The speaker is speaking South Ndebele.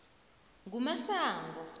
ngumasango